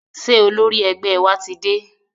Ṣé olórí ẹgbẹ́ wa ti dé?